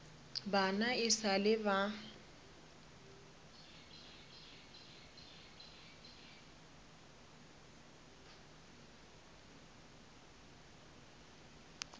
bana e sa le ba